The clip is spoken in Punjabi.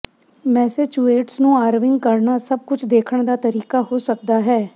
ਮੈਸੇਚਿਉਸੇਟਸ ਨੂੰ ਆਰਵੀਿੰਗ ਕਰਨਾ ਸਭ ਕੁਝ ਦੇਖਣ ਦਾ ਤਰੀਕਾ ਹੋ ਸਕਦਾ ਹੈ